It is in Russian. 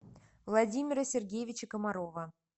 владимира сергеевича комарова